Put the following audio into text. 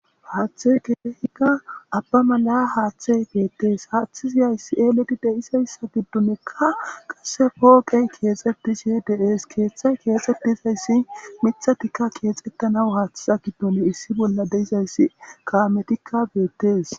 Haaththe geehika abba mala haaththe beettees haaththi ziyayssi eelidi deizayssa giddunekka qasse pooqey keexxetishi deees keeththay keexxetizayssi mithatikka keexettanaw haaththiza giddun issi bolla deizayssi kaametikka beettes